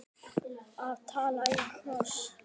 Að tala í kross